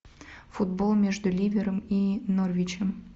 футбол между ливером и норвичем